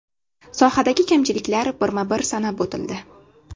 Sohadagi kamchiliklar birma-bir sanab o‘tildi.